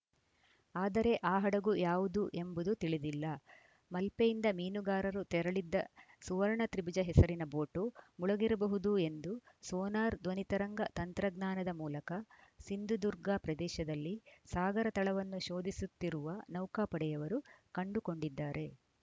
ಆದರೆ ಆ ಹಡಗು ಯಾವುದು ಎಂಬುದು ತಿಳಿದಿಲ್ಲ ಮಲ್ಪೆಯಿಂದ ಮೀನುಗಾರರು ತೆರಳಿದ್ದ ಸುವರ್ಣ ತ್ರಿಭುಜ ಹೆಸರಿನ ಬೋಟು ಮುಳುಗಿರಬಹುದು ಎಂದು ಸೋನಾರ್‌ ಧ್ವನಿ ತರಂಗ ತಂತ್ರಜ್ಞಾನದ ಮೂಲಕ ಸಿಂಧುದುರ್ಗಾ ಪ್ರದೇಶದಲ್ಲಿ ಸಾಗರತಳವನ್ನು ಶೋಧಿಸುತ್ತಿರುವ ನೌಕಾಪಡೆಯವರು ಕಂಡುಕೊಂಡಿದ್ದಾರೆ